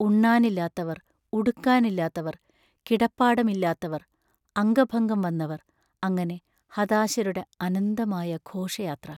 ഉണ്ണാനില്ലാത്തവർ, ഉടുക്കാനില്ലാത്തവർ, കിടപ്പാടം ഇല്ലാത്തവർ, അംഗഭംഗം വന്നവർ അങ്ങനെ ഹതാശരുടെ അനന്തമായ ഘോഷയാത്ര....